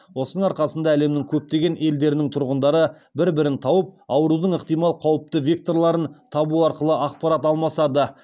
осының арқасында әлемнің көптеген елдерінің тұрғындары бір бірін тауып аурудың ықтимал қауіпті векторларын табу туралы ақпарат алмасады